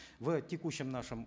в текущем нашем